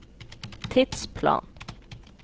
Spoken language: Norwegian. tidsplanen